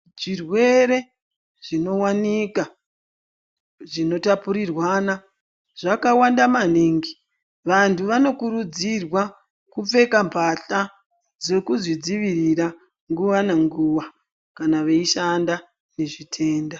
Chirwere chinowanikwa chinotapurirwana zvakawanda maningi vantu vanokurudzirwa kupfeka mbahla dzekuzvidziirira nguva nenguva kana veishanda nezvitenda.